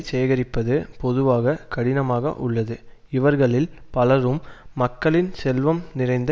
சேகரிப்பது பொதுவாக கடினமாக உள்ளது இவர்களில் பலரும் மக்களின் செல்வம் நிறைந்த